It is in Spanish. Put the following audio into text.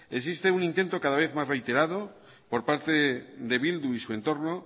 existe un intento cada vez más reiterado por parte de bildu y su entorno